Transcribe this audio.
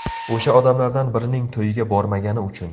O‘sha odamlardan birining to‘yiga bormagani uchun.